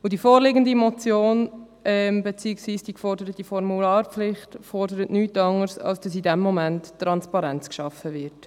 Die vorliegende Motion beziehungsweise die geforderte Formularpflicht fordert nichts anderes, als dass in diesem Moment Transparenz geschaffen wird.